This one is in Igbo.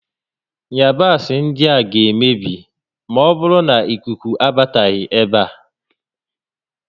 Ịyabasị ndịa ga-emebi maọbụrụ nà ikuku abataghị ébé a